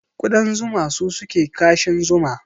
Kudan zuma su suke kashin zuma